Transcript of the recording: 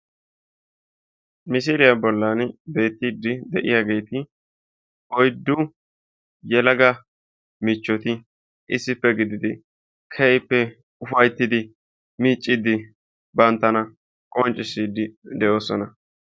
Misiliyaa bolli beettiidi de'iyaageti oyddu yelaga michchoti issippe gididi keehippe ufayttidi miiccidi banttana qoncciisidi de'oosona.